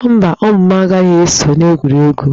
Mba, ụmụ m, agaghị eso n'egwuregwu